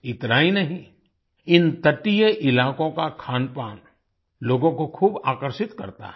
इतना ही नहीं इन तटीय इलाकों का खानपान लोगों को खूब आकर्षित करता है